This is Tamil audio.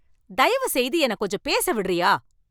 தயவுசெய்து என்னக் கொஞ்சம் பேச விடுறியா?